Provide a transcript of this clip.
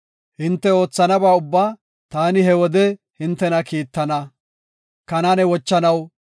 Hinte oothanaba ubbaa ta he wode hintena kiittana.